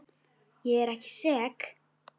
Ég er ekki sek.